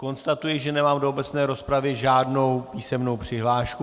Konstatuji, že nemám do obecné rozpravy žádnou písemnou přihlášku.